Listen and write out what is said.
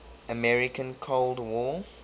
american cold war